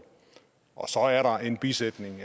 og så er der en bisætning